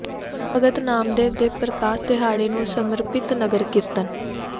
ਭਗਤ ਨਾਮਦੇਵ ਦੇ ਪ੍ਰਕਾਸ਼ ਦਿਹਾੜੇ ਨੂੰ ਸਮਰਪਿਤ ਨਗਰ ਕੀਰਤਨ